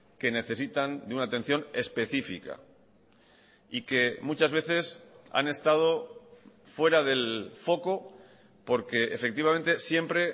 que necesitan de una atención específica y que muchas veces han estado fuera del foco porque efectivamente siempre